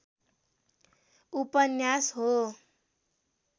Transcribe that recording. उपन्यास हो।